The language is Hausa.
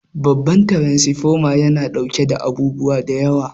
Babbar taransifoma yana daukar abubuwa da yawa.